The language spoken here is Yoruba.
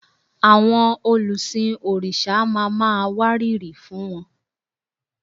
Àwọn olùsìn òrìṣà ma máa wárìrì fún wọn